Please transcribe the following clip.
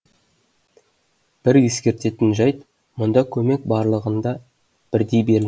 бір ескертетін жайт мұндай көмек барлығына бірдей берілмейді